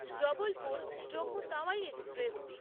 Jabalpur Jammu Tawi express